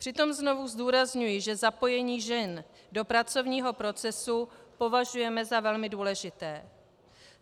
Přitom znovu zdůrazňuji, že zapojení žen do pracovního procesu považujeme za velmi důležité.